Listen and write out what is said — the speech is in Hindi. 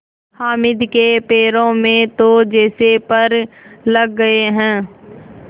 हामिद के पैरों में तो जैसे पर लग गए हैं